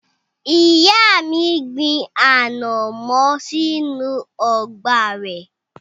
Ìyá mi gbin ànàmọ́ sínú ọgbà rẹ̀.